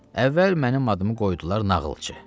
Əvvəl mənim adımı qoydular nağılçı.